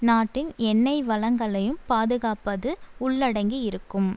நாட்டின் எண்ணெய் வளங்களையும் பாதுகாப்பது உள்ளடங்கியிருக்கும்